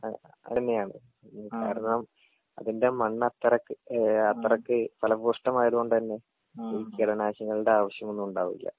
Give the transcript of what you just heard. ആ അതന്നെയാണ് കാരണം അതിന്റെ മണ്ണത്രക്ക് ഏ അത്രക്ക് ഫലഭൂഷ്ടമായത് കൊണ്ടന്നെ ഈ കീടനാശികളുടെ ആവശ്യമൊന്നുമുണ്ടാവില്ല.